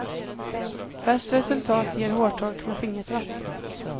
Bäst resultat ger hårtork med fingertratt.